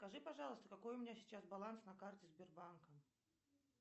скажи пожалуйста какой у меня сейчас баланс на карте сбербанка